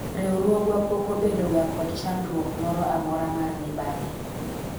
riwruogwa pok obedo ga kod chandruok moro amora mar mibadhi